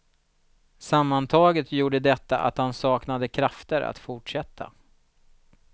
Sammantaget gjorde detta att han saknade krafter att fortsätta.